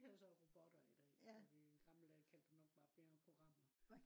de hedder så robotter i dag i gamle dage kalde man dem nok bare programmer